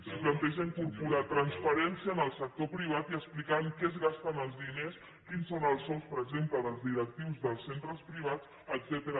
si planteja incorporar transparència en el sector privat i explicar en què es gasten els diners quins són els sous per exemple dels directius dels centres privats etcètera